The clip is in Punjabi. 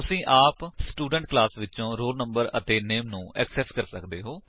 ਤੁਸੀ ਆਪ ਸਟੂਡੈਂਟ ਕਲਾਸ ਵਿਚੋ roll no ਅਤੇ ਨਾਮੇ ਨੂੰ ਐਕਸੇਸ ਕਰਨ ਦੀ ਕੋਸ਼ਿਸ਼ ਕਰ ਸੱਕਦੇ ਹੋ